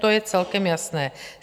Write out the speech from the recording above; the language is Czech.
To je celkem jasné.